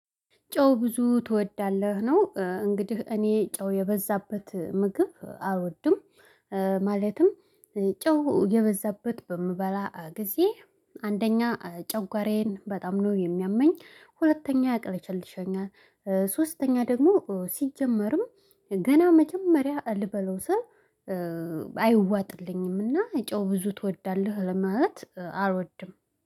ጨው ብዙ ትወዳለህ ነው? እንግዲህ እኔ ጨው የበዛበት ምግብ አልወድም። ጨው የበዛበት በምበላ ጊዜ አንደኛ ጨጓራዬን በጣም ነው የሚያመኝ ሁለተኛ ያቅለሸልሸኛል። ሶስተኛ ደግሞ ሲጀመርም ገና መጀመሪያ ልበላው ስል። አይዋጥልኝምና ጨው ብዙ ትወዳለህ ለማለት አልወድም